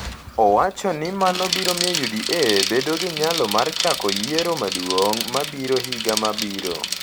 owacho ni mano biro miyo UDA bedo gi nyalo mar chako yiero maduong’ mabiro higa mabiro.